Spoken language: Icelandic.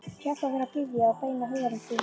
Hjálpaðu mér að biðja og beina huganum til þín.